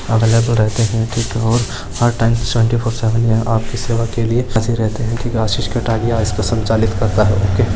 हर time twenty seven यहां office work के लिए हाज़िर रहते है क्युकी आशीष कटारिया इसको संचालित करता है।